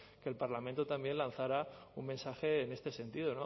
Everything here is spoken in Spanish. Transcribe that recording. que el parlamento también lanzara un mensaje en este sentido